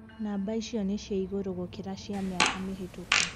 Namba icio ni cia igũrũ gũkira cia miaka mihitũku.